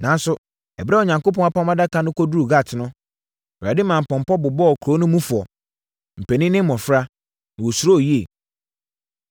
Nanso, ɛberɛ a Onyankopɔn Apam Adaka no duruu Gat no, Awurade maa mpɔmpɔ bobɔɔ kuro no mufoɔ, mpanin ne mmɔfra, na wɔsuroo yie.